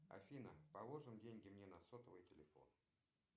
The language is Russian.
афина положим деньги мне на сотовый телефон